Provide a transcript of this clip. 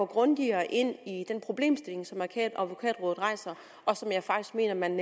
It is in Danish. grundigere ind i den problemstilling som advokatrådet rejser og som jeg faktisk mener man